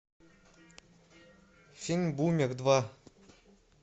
фильм бумер два